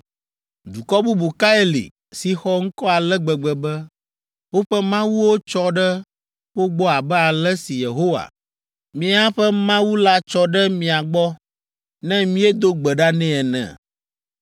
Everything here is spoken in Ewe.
Dukɔ bubu kae li, si xɔ ŋkɔ ale gbegbe be woƒe mawuwo tsɔ ɖe wo gbɔ abe ale si Yehowa, míaƒe Mawu la tsɔ ɖe mia gbɔ ne míedo gbe ɖa nɛ ene?